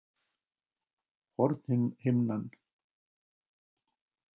Hornhimnan hefur skaddast